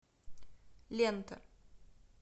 лента